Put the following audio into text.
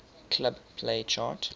club play chart